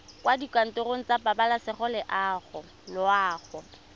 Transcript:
kwa dikantorong tsa pabalesego loago